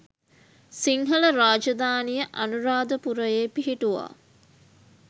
සිංහල රාජධානිය අනුරාධපුරයේ පිහිටුවා